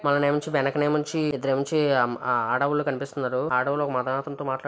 మననేముంచి వెనక నేముంచి ఇద్దరు ఏముంచి ఆ ఆ కనిపిస్తున్నారు. ఆడోళ్ళు ఒక మగతనితో మాట్లాడు--